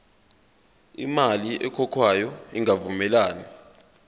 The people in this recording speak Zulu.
imali ekhokhwayo ingavumelani